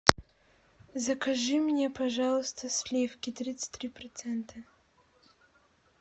закажи мне пожалуйста сливки тридцать три процента